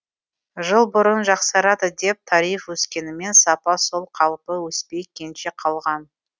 жыл бұрын жақсарады деп тариф өскенімен сапа сол қалпы өспей кенже қалған